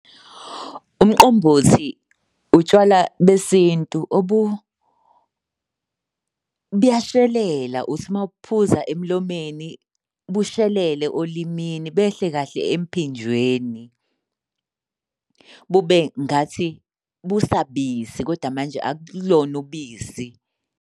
Umqombothi utshwala besintu , buyashelela uthi uma ubuphuza emlomeni bushelele olimini behle kahle emphinjweni bube ngathi busabisi kodwa manje akulona ubisi.